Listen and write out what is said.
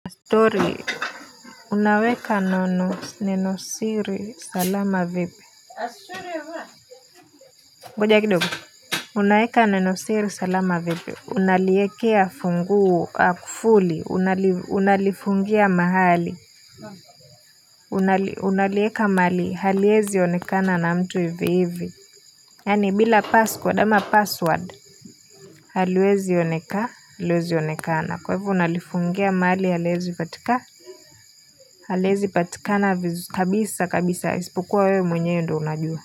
Story, unaweka nono neno siri salama vipi. Ngoja kidogo. Unaweka neno siri, salama vipi. Unaliekea funguo, kufuli. Unalifungia mahali. Unali Unalieka mahali, haliezi onekana na mtu hivi hivi. Yani bila passcord password, haliwezi oneka haliwezi onekana. Kwa hivyo, unalifungia mahali, haliezi patika. Haliezi patika na vizu kabisa kabisa isipokuwa wewe mwenye ndio unajua.